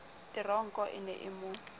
teronko e ne e mo